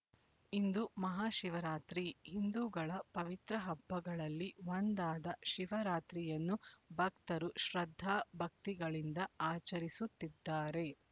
ಇಂದು ಮಹಾಶಿವರಾತ್ರಿ ಹಿಂದೂಗಳ ಪವಿತ್ರ ಹಬ್ಬಗಳಲ್ಲಿ ಒಂದಾದ ಶಿವರಾತ್ರಿಯನ್ನು ಭಕ್ತರು ಶ್ರದ್ಧಾ ಭಕ್ತಿಗಳಿಂದ ಆಚರಿಸುತ್ತಿದ್ದಾರೆ